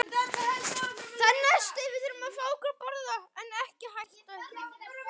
Vandi fylgir vegsemd hverri.